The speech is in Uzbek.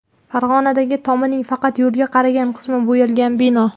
Farg‘onadagi tomining faqat yo‘lga qaragan qismi bo‘yalgan bino.